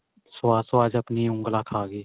ਸਵਾਦ ਸਵਾਦ ਚ ਆਪਣੀ ਉਂਗਲਾ ਖਾਗੇ.